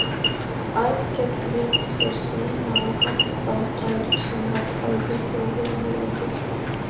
Arnkell lét sér sæma að hampa þræl sem var bæði þjófur og morðingi.